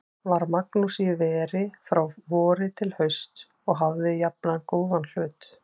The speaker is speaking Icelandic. Var Magnús í veri frá vori til hausts og hafði jafnan góðan hlut.